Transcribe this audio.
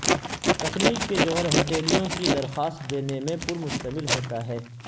تکنیک کے جوہر ہتھیلیوں کی درخواست دینے میں پر مشتمل ہوتا ہے